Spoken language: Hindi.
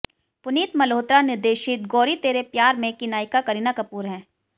पुनीत मल्होत्रा निर्देशित गोरी तेरे प्यार में की नायिका करीना कपूर हैं